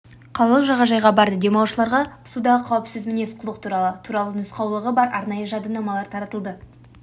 қалалық жағажайға барды демалушыларға судағы қауіпсіз мінез құлық туралы туралы нұсқаулығы бар арнайы жадынамалар таратылды